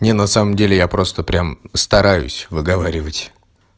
не на самом деле я просто прямо стараюсь выговаривать